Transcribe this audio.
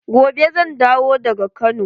Gobe zan dawo daga Kano.